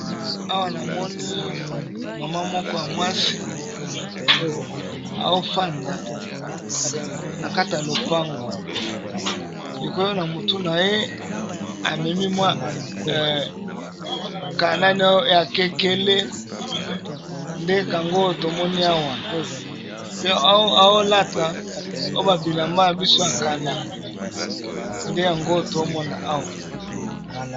Awa namoni mama moko ya mwasi aofanda na kata lopango, likolo na motu na ye amemi mwa kanani ya kekele nde kango tomoni awa mpe aolata oba bilamba ya biso ya kala nde yango tomona awa.